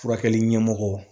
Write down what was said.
Furakɛli ɲɛmɔgɔ